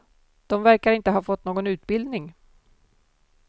De verkar inte ha fått någon utbildning.